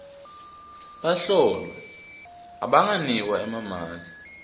bahlolwa abanganikwa emamaki